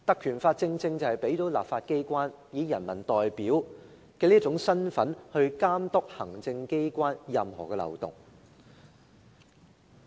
《條例》正正賦予立法機構以人民代表的身份監督行政機關的任何漏洞。